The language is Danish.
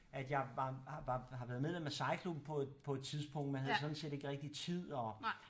At jeg var har været medlem af sejlklubben på på et tidspunkt men havde sådan set ikke rigtig tid og